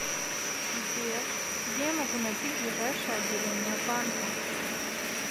сбер где я могу найти ближайшее отделение банка